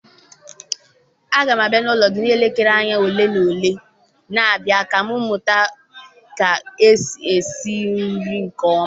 Agam abia n'ulo gi n'elekere anya ole na ole na abịa ka m mụta ka esi esi nri nke oma